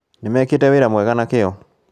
Nĩmekĩte wĩra mwega na kĩyo